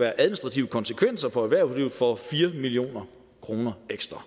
være administrative konsekvenser for erhvervslivet for fire million kroner ekstra